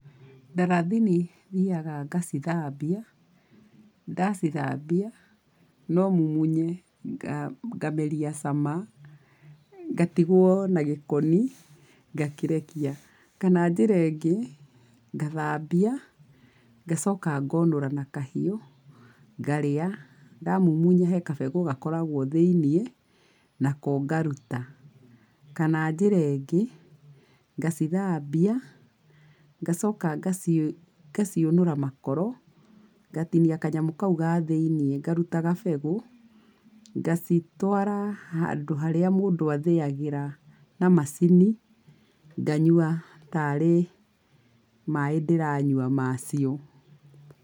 Ndarathini thiaga ngacithambia, ndacithambia, no mumunye, ngameria cama, ngatigwo na gĩkoni, ngakĩrekia. Kana njĩra ĩngĩ, ngathambia, ngacoka ngonũra na kahiũ, ngarĩa, ndamumunya he gabegũ gakoragwo thĩiniĩ, nako ngaruta. Kana njĩra ĩngĩ, ngacithambia, ngacoka ngaci ngaciũnũra makoro, ngatinia kanyamũ kaũ ga thĩinĩ ngaruta gabegũ, ngacitwara handũ harĩa mũndũ athĩagĩra na macini, nganyua tarĩ maĩ ndĩranyua macio.